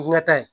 Wula ta ye